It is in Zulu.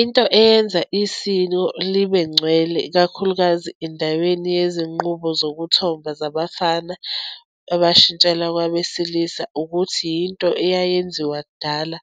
Into eyenza isiko libe ngcwele, ikakhulukazi endaweni yezinqubo zokuthomba zabafana, abashintshela kwabesilisa, ukuthi yinto eyayenziwa kudala,